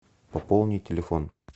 пополни телефон